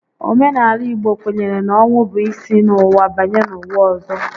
Omenaala Igbo kwenyere na ọnwụ bụ isi n'ụwa banye n'ụwa ọzọ